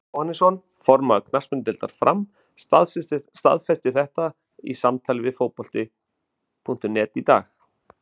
Brynjar Jóhannesson, formaður knattspyrnudeildar Fram, staðfesti þetta í samtali við Fótbolta.net í dag.